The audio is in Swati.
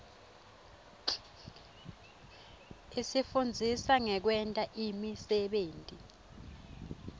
isifundzisa ngekwenta imisebenti